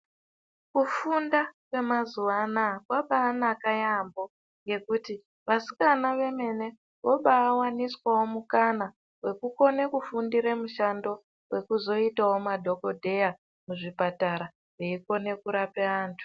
Kufunda kwemazuva anaya kwakabayi naka yaambo ngokuti vasikana vemene vobayi waniswawo mukana wokukone kufundire mushando wekuzoitawo madhokodheya muzvipatara eyikone kurape andu.